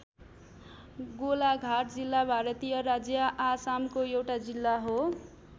गोलाघाट जिल्ला भारतीय राज्य आसामको एउटा जिल्ला हो।